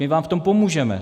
My vám v tom pomůžeme.